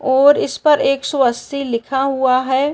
और इस पर एक सौ अस्सी लिखा हुआ है।